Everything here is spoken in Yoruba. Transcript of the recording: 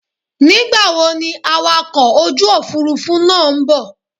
Nígbàwo ni awakọ̀ ojú òfurufú náà ń bò?